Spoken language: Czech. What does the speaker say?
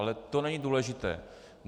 Ale to není důležité.